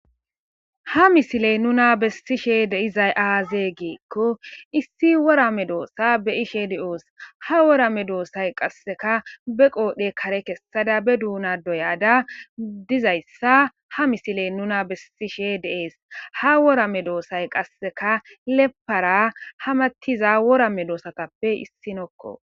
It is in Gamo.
Ha misiley nuna bessishe de'izay aazee geekko issi worame doossa be ishe di7oos ha worame doossay qasseka be qoodhe kare kessada be duuna doyada dizayssa ha misiley nuna bessishe de'ees ha worame doossay qasseka lepara hamattiza worame doosatappe issinokko.